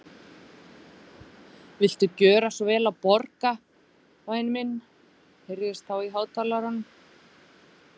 Viltu gjöra svo vel að borga, væni minn heyrðist þá í hátalaranum.